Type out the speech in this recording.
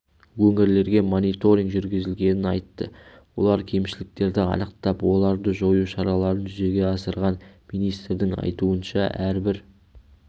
өңірлерге мониторинг жүргізілгенін айтты олар кемшіліктерді анықтап оларды жою шараларын жүзеге асырған министрдің айтуынша әрбір